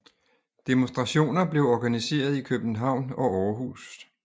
Demonstrationer blev organiseret i København og Aarhus